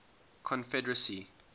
confederacy